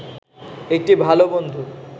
একটি ভালো বন্ধু